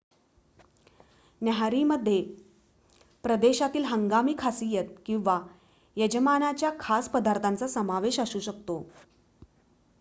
न्याहारीमध्ये प्रदेशातील हंगामी खासियत किंवा यजमानाच्या खास पदार्थाचा समावेश असू शकतो